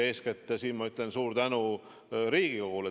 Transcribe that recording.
Eeskätt ütlen ma siin suur tänu Riigikogule.